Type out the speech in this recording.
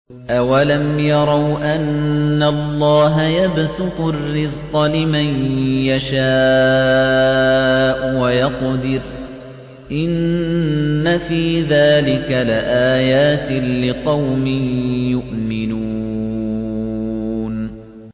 أَوَلَمْ يَرَوْا أَنَّ اللَّهَ يَبْسُطُ الرِّزْقَ لِمَن يَشَاءُ وَيَقْدِرُ ۚ إِنَّ فِي ذَٰلِكَ لَآيَاتٍ لِّقَوْمٍ يُؤْمِنُونَ